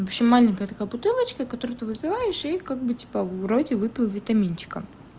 в общем маленькая бутылочка которую ты выпиваешь и как бы типа вроде выпил витаминчика